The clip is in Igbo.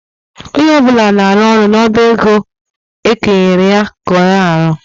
Onye ọ bụla na-arụ ọrụ n'ọba ego nwere ọrụ ekenyere ya ka ọ na-arụ.